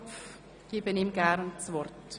Gerne erteile ich ihm das Wort.